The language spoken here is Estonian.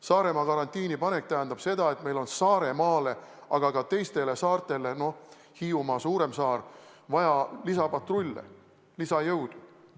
Saaremaa karantiini panek tähendab seda, et meil on Saaremaale, aga ka teistele saartele, näiteks Hiiumaale, vaja lisapatrulle, lisajõudu.